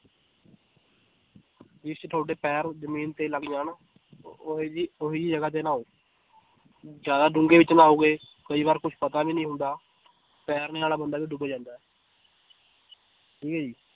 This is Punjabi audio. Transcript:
ਜਿਸ ਚ ਤੁਹਾਡੇ ਪੈਰ ਜ਼ਮੀਨ ਤੇ ਲੱਗ ਜਾਣ ਉਹ ਉਹ ਜਿਹੀ ਉਹ ਜਿਹੀ ਜਗ੍ਹਾ ਤੇ ਨਹਾਓ ਜ਼ਿਆਦਾ ਡੂੰਘੇ ਚ ਨਹਾਓਗੇ ਕਈ ਵਾਰ ਕੁਛ ਪਤਾ ਵੀ ਨੀ ਹੁੰਦਾ ਤੈਰਨੇ ਵਾਲਾ ਬੰਦਾ ਵੀ ਡੁੱਬ ਜਾਂਦਾ ਹੈ ਠੀਕ ਹੈ ਜੀ